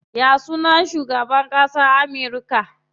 Ya sunan shugaban ƙasan Amurka?